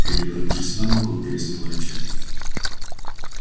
перевернувшись на бок он перестал рычать